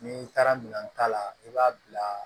N'i taara minɛn ta la i b'a bila